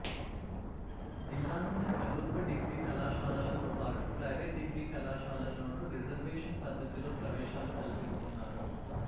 జిల్లాలోని ప్రభుత్వ డిగ్రీ కళాశాలలతో పాటు ప్రైవేటు డిగ్రీ కళాశాలల్లోనూ రిజర్వేషన్ పద్ధతిలో ప్రవేశాలు కల్పిస్తున్నారు